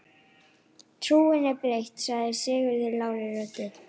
Trúin er breytt, sagði Sigurður lágri röddu.